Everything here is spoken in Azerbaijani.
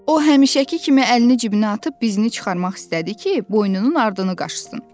O həmişəki kimi əlini cibinə atıb bizini çıxarmaq istədi ki, boynunun ardını qaşırsın.